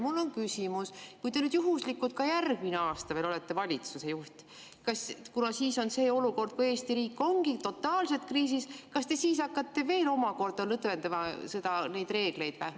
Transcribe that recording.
Mul on küsimus: kui te juhuslikult ka järgmine aasta olete veel valitsuse juht – kuna siis on see olukord, kui Eesti riik ongi totaalselt kriisis –, kas te siis hakkate veel omakorda lõdvendama neid reegleid?